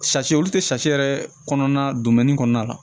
olu tɛ yɛrɛ kɔnɔna kɔnɔna la